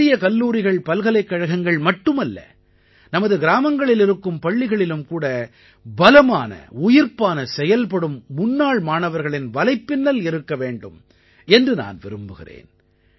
பெரிய கல்லூரிகள் பல்கலைக்கழகங்கள் மட்டுமல்ல நமது கிராமங்களில் இருக்கும் பள்ளிகளிலும் கூட பலமான உயிர்ப்பான செயல்படும் முன்னாள் மாணவர்களின் வலைப்பின்னல் இருக்க வேண்டும் என்று நான் விரும்புகிறேன்